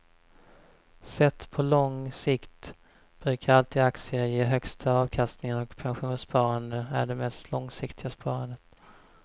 Sett på lång sikt brukar alltid aktier ge högsta avkastningen och pensionssparande är det mest långsiktiga sparandet.